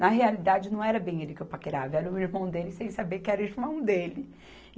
Na realidade, não era bem ele que eu paquerava, era o irmão dele, sem saber que era o irmão dele.